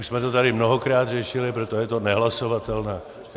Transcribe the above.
Už jsme to tady mnohokrát řešili, proto je to nehlasovatelné.